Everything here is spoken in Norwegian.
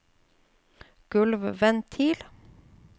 gulvventil